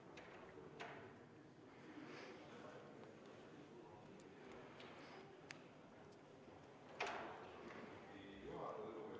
Lugupeetud juhataja!